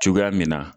Cogoya min na